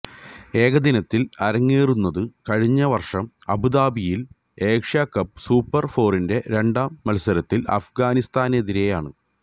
ഏകദിനത്തില് അരങ്ങേറുന്നത് കഴിഞ്ഞവര്ഷം അബുദാബിയില് ഏഷ്യാകപ്പ് സൂപ്പര് ഫോറിന്റെ രണ്ടാം മത്സരത്തില് അഫ്ഗാനിസ്ഥാനെതിരേയാണ്